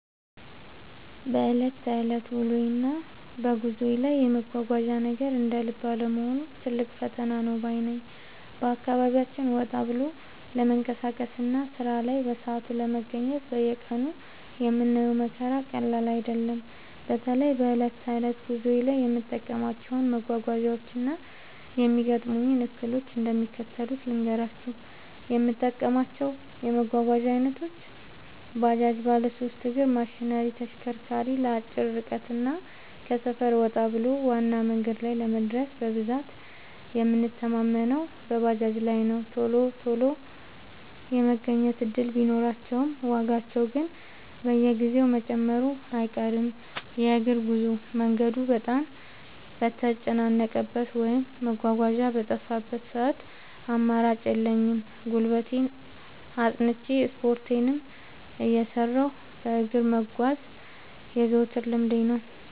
በዕለት ተዕለት ውሎዬና በጉዞዬ ላይ የመጓጓዣ ነገር እንደ ልብ አለመሆኑ ትልቅ ፈተና ነው ባይ ነኝ። በአካባቢያችን ወጣ ብሎ ለመንቀሳቀስና ሥራ ላይ በሰዓቱ ለመገኘት በየቀኑ የምናየው መከራ ቀላል አይደለም። በተለይ በዕለት ተዕለት ጉዞዬ ላይ የምጠቀማቸውን መጓጓዣዎችና የሚገጥሙኝን እክሎች እንደሚከተለው ልንገራችሁ፦ የምጠቀማቸው የመጓጓዣ ዓይነቶች፦ ባጃጅ (ባለሦስት እግር ማሽነሪ/ተሽከርካሪ)፦ ለአጭር ርቀትና ከሰፈር ወጣ ብሎ ዋና መንገድ ላይ ለመድረስ በብዛት የምንተማመነው በባጃጅ ላይ ነው። ቶሎ ቶሎ የመገኘት ዕድል ቢኖራቸውም፣ ዋጋቸው ግን በየጊዜው መጨመሩ አይቀርም። የእግር ጉዞ፦ መንገዱ በጣም በተጨናነቀበት ወይም መጓጓዣ በጠፋበት ሰዓት አማራጭ የለኝም፤ ጉልበቴን አጽንቼ፣ ስፖርቴንም እየሠራሁ በእግር መጓዝ የዘወትር ልምዴ ነው።